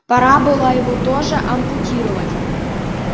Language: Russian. пора было его тоже ампутировать